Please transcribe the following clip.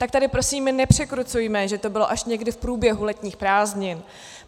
Tak tady prosím nepřekrucujme, že to bylo až někdy v průběhu letních prázdnin.